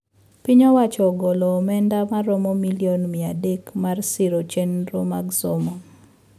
Piny owacho ogolo omenda maromo million mia adek mar siro chendro mag somo